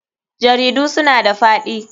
Jaridu suna da faɗi.